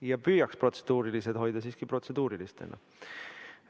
Ja püüame protseduurilised küsimused hoida siiski protseduurilistena.